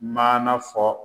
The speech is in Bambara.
Maana fɔ